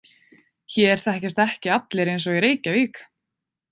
Hér þekkjast ekki allir eins og í Reykjavík.